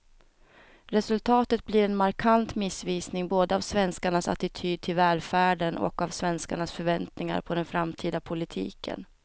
Resultatet blir en markant missvisning både av svenskarnas attityd till välfärden och av svenskarnas förväntningar på den framtida politiken.